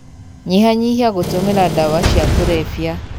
Nyihanyihia gũtũmĩra dawa cia kurebia.